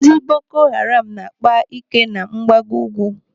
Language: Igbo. Ndị Boko Haram na-akpa ike na mgbago ukwu.